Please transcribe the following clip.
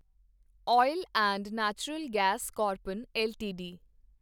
oil and natural gas corporation LTD